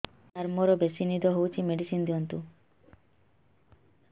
ସାର ମୋରୋ ବେସି ନିଦ ହଉଚି ମେଡିସିନ ଦିଅନ୍ତୁ